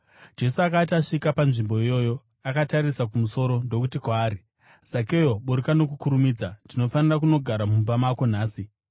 Jesu akati asvika panzvimbo iyoyo, akatarisa kumusoro ndokuti kwaari, “Zakeo, buruka nokukurumidza. Ndinofanira kunogara mumba mako nhasi.”